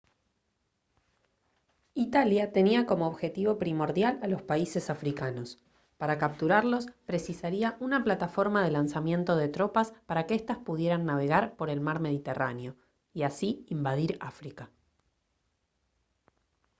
italia tenía como objetivo primordial a los países africanos para capturarlos precisaría una plataforma de lanzamiento de tropas para que estas pudieran navegar por el mar mediterráneo y así invadir áfrica